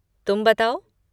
तुम बताओ?